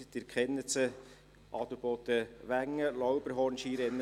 Sie kennen sie: AdelbodenWengen, Lauberhorn-Skirennen.